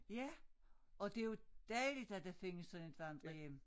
Ja og det jo dejligt at der findes sådan et vandrehjem